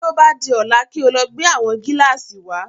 Tí o bá di ọ̀la kí o lọ gbé àwọn Gílàsì wa